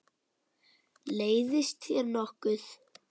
Leiðist þér nokkuð?